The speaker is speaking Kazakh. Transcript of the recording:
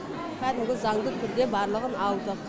кәдімгі заңды түрде барлығын алдық